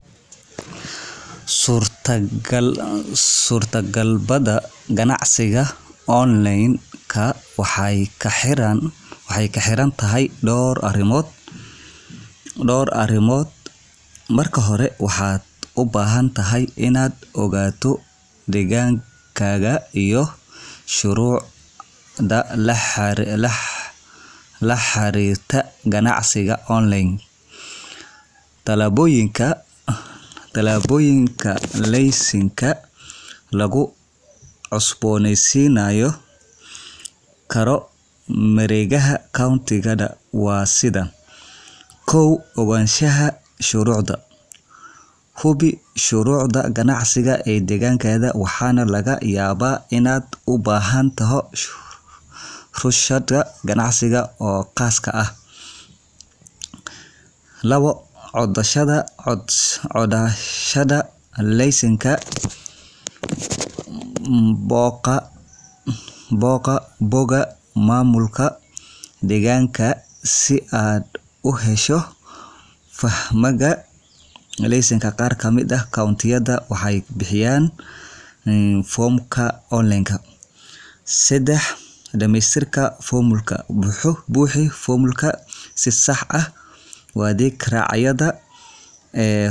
Suurtagabada ganacsiga online-ka waxay ku xiran tahay dhowr arrimood. Marka hore, waxaad u baahan tahay inaad ogaato deegaankaaga iyo shuruucda la xiriirta ganacsiga online Tallaabooyinka laysanka loogu cusboonaysiin karo mareegaha county-da waa sidan: Ogaanshaha Shuruucda Hubi shuruucda ganacsi ee deegaankaaga, waxaana laga yaabaa inaad u baahato rukhsad ganacsi oo khaas ah. Codsashada LaysankaBooqo bogga maamulka deegaankaaga si aad u hesho foomamka laysanka. Qaar ka mid ah county-yada waxay bixiyaan foomamka online .Dhamaystirka Foomamka Buuxi foomamka si sax ah, adigoo raacaya tilmaamaha la bixiyo. Waxaa laga yaabaa inaad u baahato inaad bixiso lacagta rukhsada.